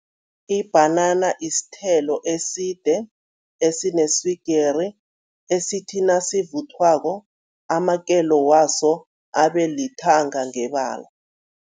Ibhanana isithelo eside, esineswigiri, esithi nasivuthwako amakelo waso abe lithanga ngebala.